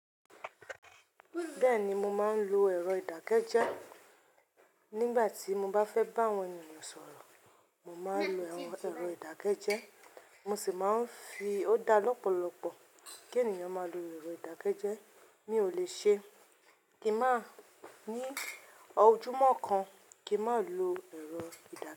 Bẹ́ẹ̀ni mo máa ń lo ẹ̀rọ ìdákẹ́jẹ́ nígbà tí mo bá fẹ́ bá àwọn ènìyàn sọ̀rọ̀. Mo máa ń lo àwọn ẹ̀rọ ìdákẹ́jẹ́ mo sì máa ń fi ó dá lọ́pọ̀lọpọ̀ kí ènìyàn má lo ẹ̀rọ ìdákẹ́jẹ́ mi ò lè ṣe kí má ní ojúmọ́ kan kí ń má lo ẹ̀rọ ìdákẹ́jẹ́.